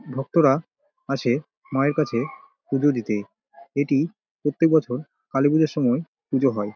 ভক্তরা আসে মায়ের কাছে পুজো দিতে এটি প্রত্যেক বছর কালীপুজোর সময় পুজো হয়।